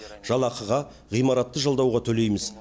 жалақыға ғимаратты жалдауға төлейміз